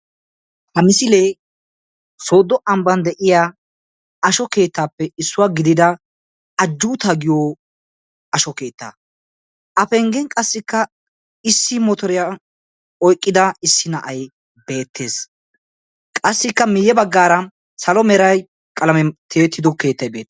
ha misiliee sooddo ambban de'iyaa ashso keettappe issuwa gidida ajjuuta giyo ashsho keetta. a penggen qa issi motoriyaa oyqqida issi na'ay beettees. qassikka miyye baggaara salo meray tiyyettida keettay beettes.